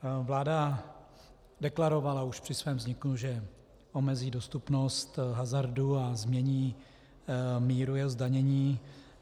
Vláda deklarovala už při svém vzniku, že omezí dostupnost hazardu a změní míru jeho zdanění.